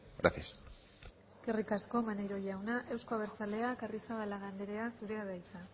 gracias eskerrik asko maneiro jauna euzko abertzaleak arrizabalaga anderea zurea da hitza